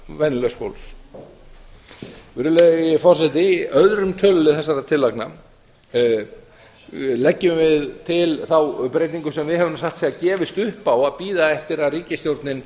venjulegs fólks virðulegi forseti í árum tölulið þessara tillagna leggjum við til þá breytingu sem við höfum nú satt að segja gefist upp á að bíða eftir að ríkisstjórnin